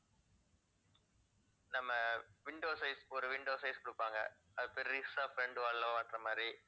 நம்ம window size ஒரு window size கொடுப்பாங்க. அது பெருசா front wall ல மாட்டுற மாதிரி